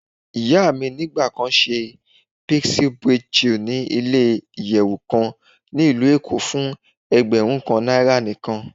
Iya mi nigba kan ṣe pixie braid chic ni ile-iyẹwu kan ni Ilu Eko fun ẹgbẹrun kan naira nikan.